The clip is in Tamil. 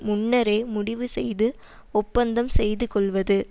முன்னரே முடிவு செய்து ஒப்பந்தம் செய்து கொள்வது